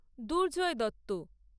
Durjoy Dutta